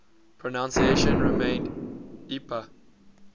pronunciation remained ipa